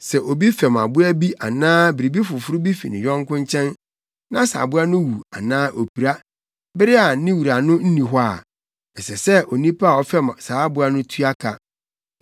“Sɛ obi fɛm aboa bi anaa biribi foforo bi fi ne yɔnko nkyɛn na sɛ aboa no wu anaa opira, bere a ne wura no nni hɔ a, ɛsɛ sɛ onipa a ɔfɛm saa aboa no tua ka.